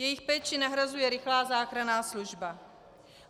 Jejich péči nahrazuje rychlá záchranná služba.